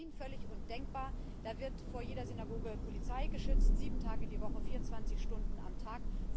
Das ist in Berlin völlig undenkbar, da wird vor jeder Synagoge durch Polizei geschützt, sieben Tage die Woche, vierundzwanzig Stunden am Tag.